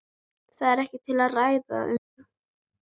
Það er ekkert til að ræða um.